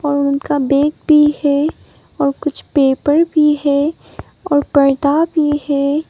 और उनका बैग भी है और कुछ पेपर भी है और पर्दा भी है।